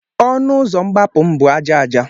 Ọnụ ụzọ mgbapụ m bụ aja aja.